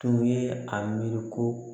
Tun ye a miiri ko